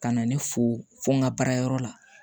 Ka na ne fo fo n ka baara yɔrɔ la